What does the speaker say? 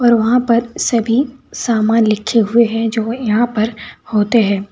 और वहां पर सभी सामान लिखे हुए हैं जो यहां पर होते हैं।